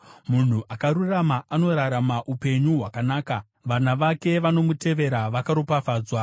Munhu akarurama anorarama upenyu hwakanaka; vana vake vanomutevera vakaropafadzwa.